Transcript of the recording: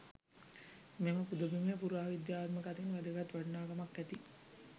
මෙම පුදබිමේ පුරාවිද්‍යාත්මක අතින් වැදගත් වටිනාකමක් ඇති